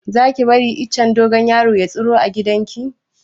Za ki bari icen dogon yaro ya tsiro a gidan ki?